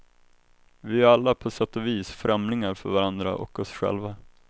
Vi är ju alla på sätt och vis främlingar för varandra och oss själva.